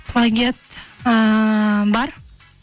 плагиат ыыы бар